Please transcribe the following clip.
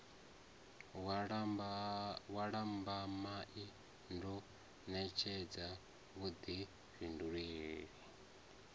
wa lambamai ndo ṋetshedza vhuḓifhindulele